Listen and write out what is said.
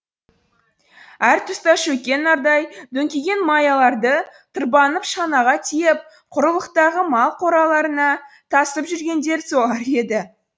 әр тұста шөккен нардай дөңкиген маяларды тырбанып шанаға тиеп құрылықтағы мал қораларына тасып жүргендер солар еді